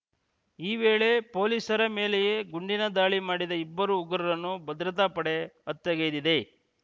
ಈ ವೇಳೆ ಪೊಲೀಸರ ಮೇಲೆಯೇ ಗುಂಡಿನ ದಾಳಿ ಮಾಡಿದ ಇಬ್ಬರು ಉಗ್ರರನ್ನು ಭದ್ರತಾ ಪಡೆ ಹತ್ಯೆಗೈದಿದೆ